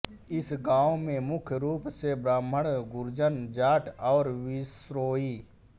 इस गांव में मुख्य रूप से ब्राह्मण गुर्जर जाट ओर विश्नोई